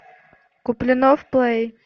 куплинов плей